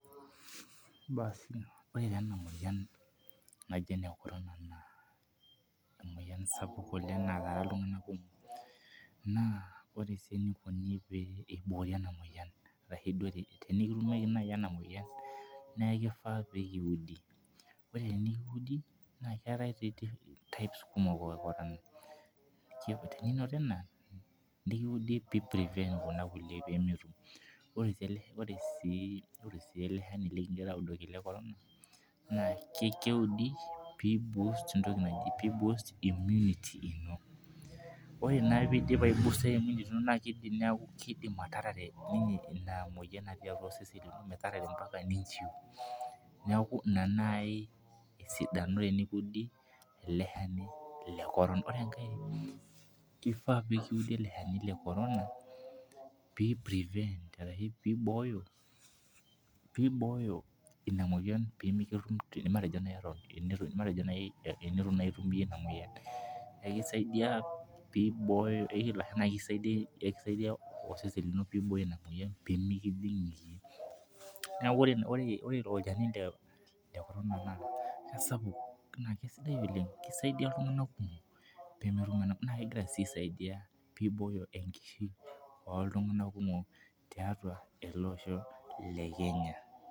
Basi ore naa ena moyian ena naji ene corona, emoyian sapuk nataara iltunganak, kumok. naa ore sii enikoni pee iboori ena moyian. aashu tenikitumieki naaji ena moyian, naa kifaa pee kiudi, ore pee kiudi keetae types kumok. teninoti ena nikiudi pee prevent irkulie peetum. orw sii ele Shani likigirae audoki le corona, naa keudi pee i boost immunity ino. ore naa na keidim ataarare Ina moyian natii atua osesen lino. ataatare pee inchiu. neeku Ina naaji esidano enikiudi ele shani le korona. ore enkae kifaa pee kiudi ele Shani, le corona pee Ibooyo Ina moyian. matejo naaji teneitu itum iyie Ina moyian. nibooyo naa kisaidia osesen lino pee Ibooyo Ina moyian pee .ore ilo Shani naa kisidai oleng. naa kegira sii aisaidia pee Ibooyo enkishui oltunganak kumok tiatua ele Osho le Kenya.